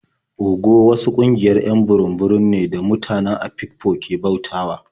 Ogo wasu ƙungiayr 'yan burum-burum ne da mutane Afikpo ke bautawa.